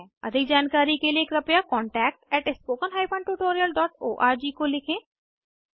अधिक जानकारी के लिए कृपया contactspoken tutorialorg को लिखें